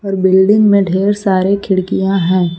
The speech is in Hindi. और बिल्डिंग में ढेर सारे खिड़कियां हैं।